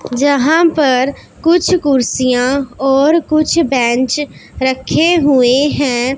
जहां पर कुछ कुर्सियां और कुछ बेंच रखे हुए हैं।